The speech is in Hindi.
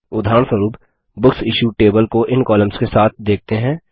उदाहरणस्वरुप बुकसिश्यूड टेबल को इन कॉलम्स के साथ देखते हैं